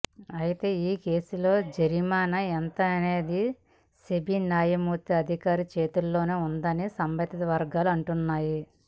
అయితే ఈ కేసులో జరిమానా ఎంతనేది సెబీ న్యాయాధికారి చేతుల్లోనే ఉన్నదని సంబంధిత వర్గాలు అంటున్నాయి